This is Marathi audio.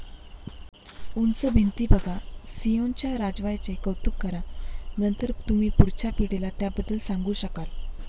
उंच भिंती बघा, सियोनच्या राजवा्याचे कौतुक करा. नंतर तुम्ही पुढच्या पिढीला त्याबद्दल सांगू शकाल.